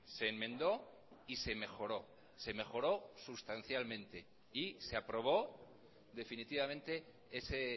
se enmendó y se mejoró se mejoró sustancialmente y se aprobó definitivamente ese